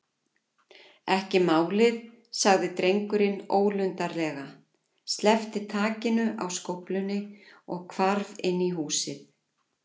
Ekki málið- sagði drengurinn ólundarlega, sleppti takinu á skóflunni og hvarf inn í húsið.